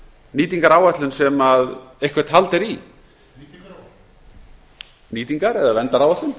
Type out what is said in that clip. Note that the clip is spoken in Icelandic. nýtingaráætlun sem eitthvert hald er í nýtingaráætlun nýtingar eða verndaráætlun